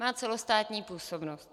Má celostátní působnost.